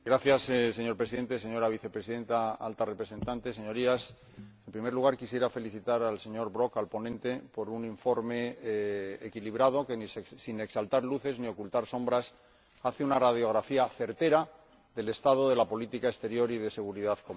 Señor Presidente, señora Vicepresidenta Alta Representante, Señorías, en primer lugar quisiera felicitar al señor Brok, al ponente, por un informe equilibrado que, sin exaltar luces ni ocultar sombras, hace una radiografía certera del estado de la política exterior y de seguridad común.